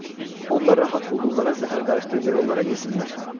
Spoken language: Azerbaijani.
Onda rahat hulqumlara zəhər qarışdırıb ver onlara yesinlər.